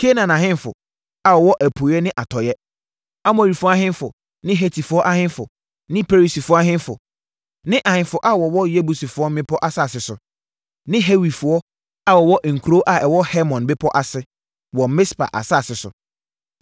Kanaan ahemfo a wɔwɔ apueeɛ ne atɔeɛ; Amorifoɔ ahemfo ne Hetifoɔ ahemfo ne Perisifoɔ ahemfo ne ahemfo a wɔwɔ Yebusifoɔ mmepɔ asase so; ne Hewifoɔ a wɔwɔ nkuro a ɛwɔ Hermon bepɔ ase wɔ Mispa asase so.